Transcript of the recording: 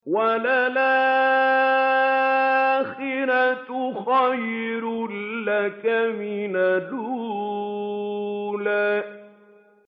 وَلَلْآخِرَةُ خَيْرٌ لَّكَ مِنَ الْأُولَىٰ